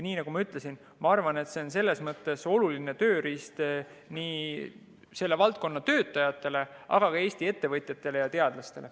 Nii nagu ma ütlesin, ma arvan, see on selles mõttes oluline tööriist selle valdkonna töötajatele, aga ka Eesti ettevõtjatele ja teadlastele.